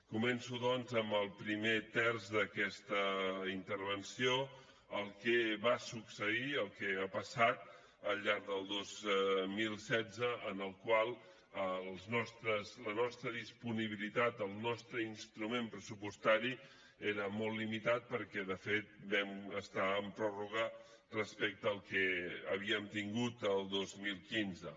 començo doncs amb el primer terç d’aquesta intervenció el que va succeir el que ha passat al llarg del dos mil setze en el qual la nostra disponibilitat el nostre instrument pressupostari era molt limitat perquè de fet vam estar en pròrroga respecte al que havíem tingut el dos mil quinze